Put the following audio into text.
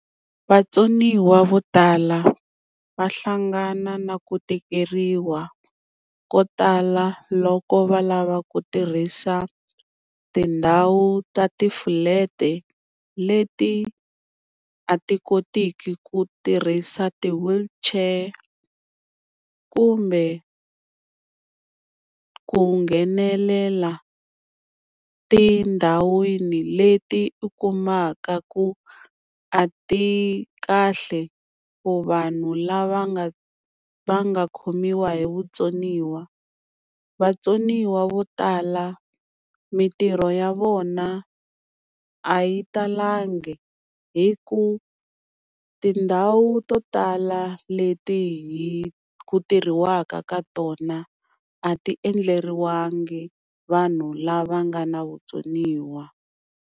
Vatsoniwa vo tala va hlangana na ku tikeriwa ko tala loko va lava ku tirhisa tindhawu ta ti-flat leti a ti kotiki ku tirhisa ti-wheelchair, kumbe ku nghenelela tindhawini leti u kumaka ku a ti kahle ku vanhu lava nga va nga khomiwa hi vutsoniwa. Vatsoniwa vo tala mintirho ya vona a yi talangi hi ku tindhawu to tala leti hi ku tirhiwaka ka tona a ti endleriwangi vanhu lava nga na vutsoniwa.